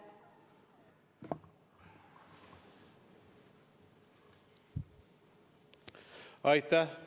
Aitäh!